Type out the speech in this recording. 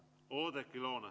Oudekki Loone.